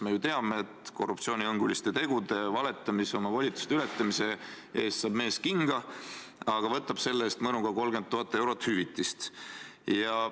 Me ju teame, et mees saab korruptsioonihõnguliste tegude, valetamise ja oma volituste ületamise eest kinga, aga võtab selle eest mõnuga 30 000 eurot hüvitist.